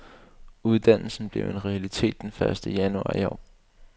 Uddannelsen blev en realitet den første januar i år.